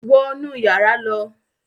Wọ̀ nú yàrà ló!